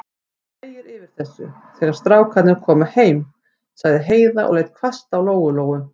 Þú þegir yfir þessu, þegar strákarnir koma heim, sagði Heiða og leit hvasst á Lóu-Lóu.